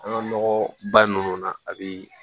An ka nɔgɔ ba ninnu na a bi